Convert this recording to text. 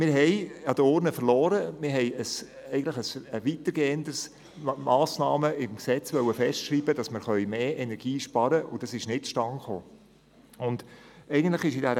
Wir haben an der Urne verloren, wir wollten weitergehende Massnahmen im Gesetz festschreiben, damit wir mehr Energie sparen können, und das ist nicht zu Stande gekommen.